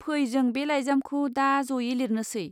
फै जों बे लाइजामखौ दा ज'यै लिरनोसै।